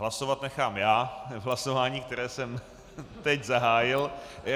Hlasovat nechám já v hlasování, které jsem teď zahájil...